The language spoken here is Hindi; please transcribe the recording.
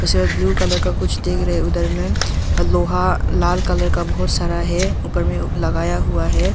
पिक्चर ब्लू कलर का कुछ डिक रहे उधर में और लोहा लाल कलर का बहुत सारा है ऊपर में वो लगाया हुआ है।